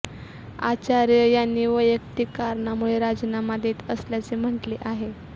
आचार्य यांनी वैयक्तीक कारणामुळे राजीनामा देत असल्याचे म्हटले आहे